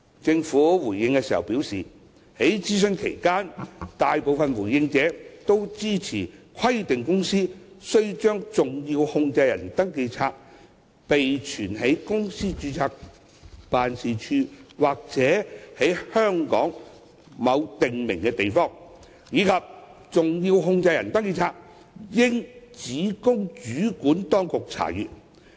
政府回應時表示，在諮詢期間，大部分回應者支持規定公司須把登記冊備存在公司的註冊辦事處或在香港的某訂明地方，以及登記冊應只供主管當局查閱的建議。